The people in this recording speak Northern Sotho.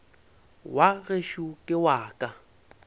wa gešo ke wa ka